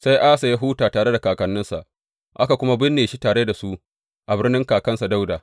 Sai Asa ya huta tare da kakanninsa, aka kuma binne shi tare da su a birnin kakansa Dawuda.